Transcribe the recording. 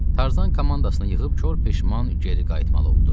Tarzan komandasını yığıb kor peşman geri qayıtmalı oldu.